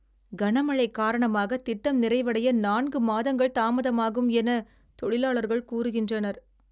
கனமழை காரணமாக திட்டம் நிறைவடைய நான்கு மாதங்கள் தாமதமாகும் என தொழிலாளர்கள் கூறுகின்றனர்.